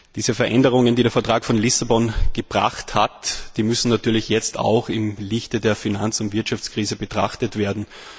Diese Veränderungen, die der Vertrag von Lissabon gebracht hat, die müssen natürlich jetzt auch im Lichte der Finanz und Wirtschaftskrise betrachtet werden.